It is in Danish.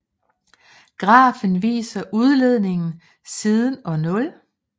Grafen viser udledningen siden år 0